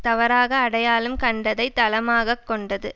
தவறாக அடையாளம் கண்டதை தளமாக கொண்டது